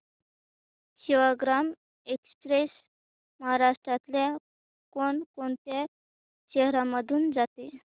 Sevagram express महाराष्ट्रातल्या कोण कोणत्या शहरांमधून जाते